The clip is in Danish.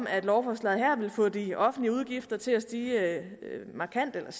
at lovforslaget vil få de offentlige udgifter til at stige markant eller